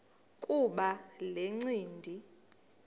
kuba le ncindi